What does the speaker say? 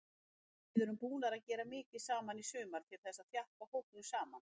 Við erum búnir að gera mikið saman í sumar til þess að þjappa hópnum saman.